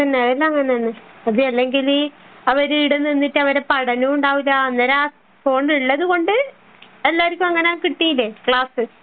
അതെല്ലാം അങ്ങനെ തന്നെ അത് അല്ലെങ്കിൽ അവർ ഇവിടെ നിന്നിട്ട് അവരുടെ പഠനവും ഉണ്ടാവില്ല ഫോൺ ഉള്ളത് കൊണ്ട് എല്ലാര്ക്കും അങ്ങനെ കിട്ടീല്ലേ ക്ലാസ്